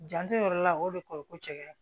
Janto yɔrɔ la o de ko ko cɛkɛ